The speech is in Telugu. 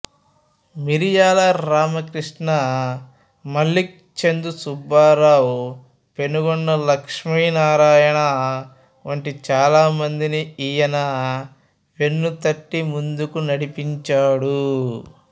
మిరియాల రామకృష్ణ మల్లిక్ చందు సుబ్బారావు పెనుగొండ లక్ష్మీనారాయణ వంటి చాలా మందిని ఈయన వెన్ను తట్టి ముందుకు నడిపించాడు